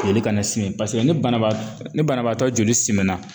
Joli ka na simi pase ni banabaa ni banabaatɔ joli simina